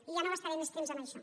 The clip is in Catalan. i ja no gastaré més temps amb això